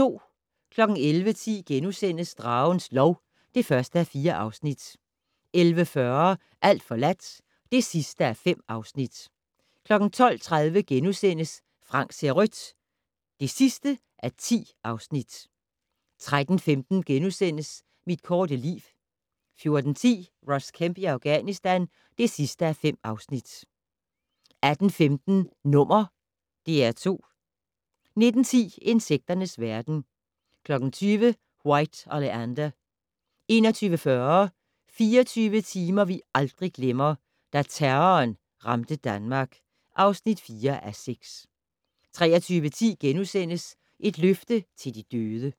11:10: Dragens lov (1:4)* 11:40: Alt forladt (5:5) 12:30: Frank ser rødt (10:10)* 13:15: Mit korte liv * 14:10: Ross Kemp i Afghanistan (5:5) 18:15: #DR2 19:10: Insekternes verden 20:00: White Oleander 21:40: 24 timer vi aldrig glemmer: Da terroren ramte Danmark (4:6) 23:10: Et løfte til de døde *